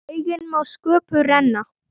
Eigi má sköpum renna